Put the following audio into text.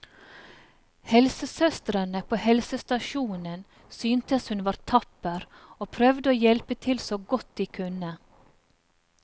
Helsesøstrene på helsestasjonen syntes hun var tapper og prøvde å hjelpe til så godt de kunne.